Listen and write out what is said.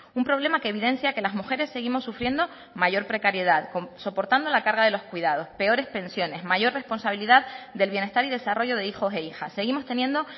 un problema que evidencia que las mujeres seguimos sufriendo mayor precariedad soportando la carga de los cuidados peores pensiones mayor responsabilidad del bienestar y desarrollo de hijos e hijas seguimos teniendo